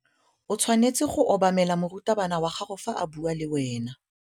O tshwanetse go obamela morutabana wa gago fa a bua le wena.